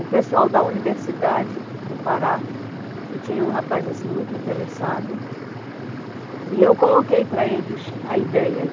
o pessoal da Universidade do Pará, que tinha um rapaz assim muito interessado, e eu coloquei para eles a ideia.